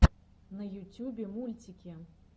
на ютюбе мультики